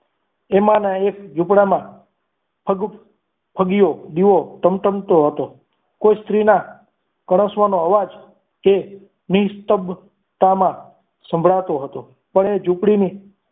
એમાંના એક ઝુંપડામાં ઠગ્યો દીવો ટમટમતો હતો. કોઈ સ્ત્રીના કણસવાનો અવાજ કે નિષ્ફળતામાં સંભળાતો હતો એ ઝુંપડીની